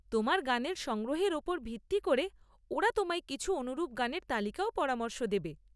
তোমার গানের সংগ্রহের ওপর ভিত্তি করে ওরা তোমায় কিছু অনুরূপ গানের তালিকারও পরামর্শ দেবে।